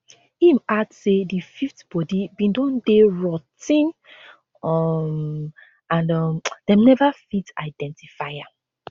im add say di fifth body bin don dey rot ten um and um dem neva fit identify am